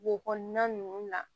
Wo kɔnɔna ninnu na